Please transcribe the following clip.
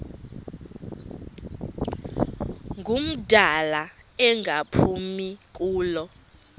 ngumdala engaphumi kulo